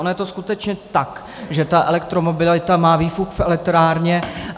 Ono je to skutečně tak, že ta elektromobilita má výfuk v elektrárně.